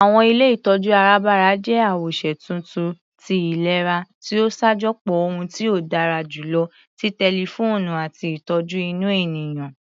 Àwọn ilé ìtọjú arabara jẹ́ awoṣe tuntun tí ìlera ti o ṣajọpọ ohun tí ó dára jùlọ ti tẹlifoonu àti ìtọjú inú ènìyàn.